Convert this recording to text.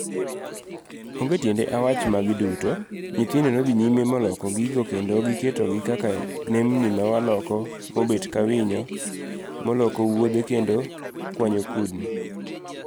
Onge tiende mondo awach magi duto, nyithindo nodhi nyime moloko gigo kendo giketogi kaka nembni mawaloko mobet kawinyo moloko wuodhe kendo kwanyo kudni.